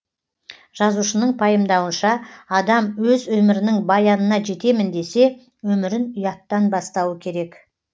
жазушының пайымдауынша адам өз өмірінің баянына жетемін десе өмірін ұяттан бастауы керек